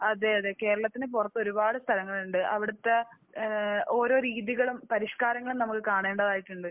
അതെ. അതെ. കേരളത്തിന് പുറത്ത് ഒരുപാട് സ്ഥലങ്ങളുണ്ട്. അവിടുത്തെ ഏഹ് ഓരോ രീതികളും പരിഷ്കാരങ്ങളും നമ്മൾ കാണേണ്ടതായിട്ടുണ്ട്.